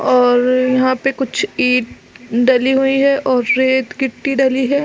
और यहाँ पे कुछ ईट ढली हुई है और रेट गिट्टी ढली है।